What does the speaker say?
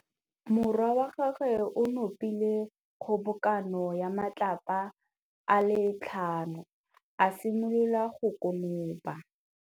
Morwa wa gagwe o nopile kgobokanô ya matlapa a le tlhano, a simolola go konopa.